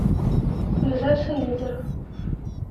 ближайший лидер